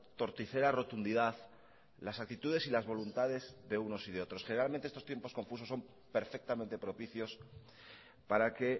torticera rotundidad las actitudes y las voluntades de unos y de otros generalmente estos tiempos confusos son perfectamente propicios para que